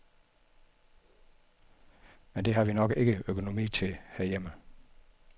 Men det har vi nok ikke økonomi til herhjemme.